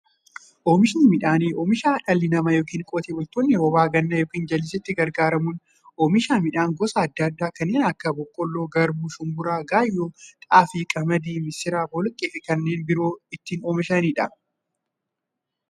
Oomishni midhaanii, oomisha dhalli namaa yookiin Qotee bultoonni roba gannaa yookiin jallisiitti gargaaramuun oomisha midhaan gosa adda addaa kanneen akka; boqqoolloo, garbuu, shumburaa, gaayyoo, xaafii, qamadii, misira, boloqqeefi kanneen biroo itti oomishamiidha.